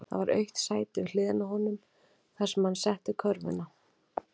Það var autt sæti við hliðina á honum, þar setti hann körfuna.